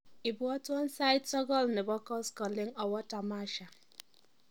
ibwotwon sait sogol nebo koskoleng awo tamasha